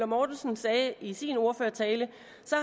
mortensen sagde i sin ordførertale